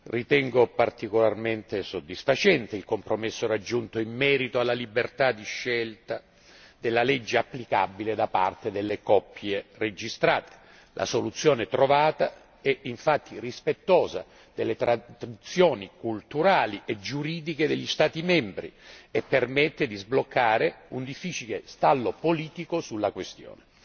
Ritengo particolarmente soddisfacente il compromesso raggiunto in merito alla libertà di scelta della legge applicabile da parte delle coppie registrate. La soluzione trovata è infatti rispettosa delle tradizioni culturali e giuridiche degli Stati membri e permette di sbloccare un difficile stallo politico sulla questione.